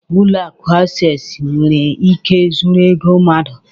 Ụlọ akụ Access nwere ike zuru ego mmadụ